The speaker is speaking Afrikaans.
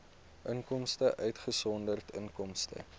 inkomste uitgesonderd inkomste